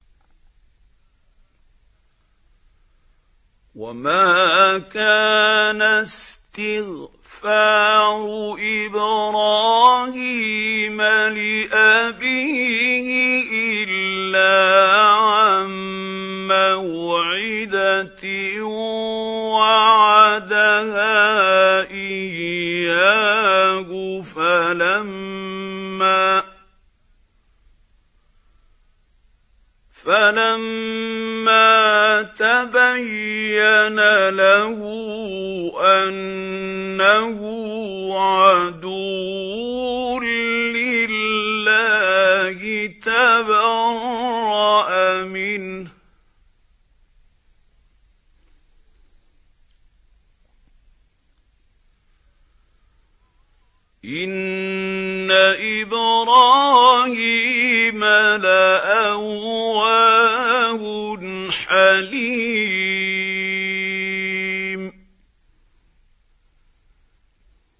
وَمَا كَانَ اسْتِغْفَارُ إِبْرَاهِيمَ لِأَبِيهِ إِلَّا عَن مَّوْعِدَةٍ وَعَدَهَا إِيَّاهُ فَلَمَّا تَبَيَّنَ لَهُ أَنَّهُ عَدُوٌّ لِّلَّهِ تَبَرَّأَ مِنْهُ ۚ إِنَّ إِبْرَاهِيمَ لَأَوَّاهٌ حَلِيمٌ